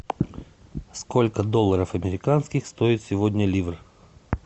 сколько долларов американских стоит сегодня ливр